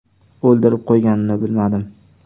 O‘ldirib qo‘yganimni bilmadim.